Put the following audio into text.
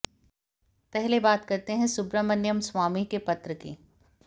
पहले बात करते हैं सुब्रमण्यम स्वामी के पत्र की